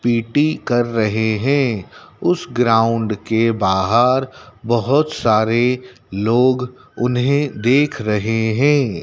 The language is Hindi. पी_टी कर रहे हैं। उस ग्राउंड के बाहर बहोत सारे लोग उन्हें देख रहे हैं।